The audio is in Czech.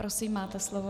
Prosím, máte slovo.